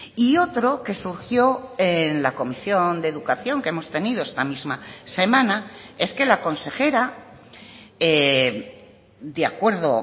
y otro que surgió en la comisión de educación que hemos tenido esta misma semana es que la consejera de acuerdo